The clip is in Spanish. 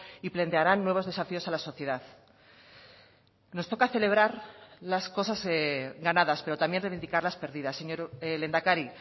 y plantearán nuevos desafíos a la sociedad nos toca celebrar las cosas ganadas pero también reivindicar las perdidas señor lehendakari